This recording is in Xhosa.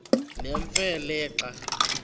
nemfe le xa